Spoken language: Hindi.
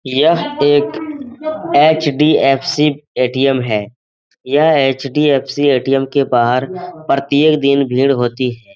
यह एक एच.डी.एफ.सी. ए.टी.एम. है यह एच.डी.एफ.सी. ए.टी.एम. के बाहर प्रत्येक दिन भीड़ होती है ।